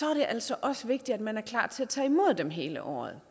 er det altså også vigtigt at man er klar til at tage imod dem hele året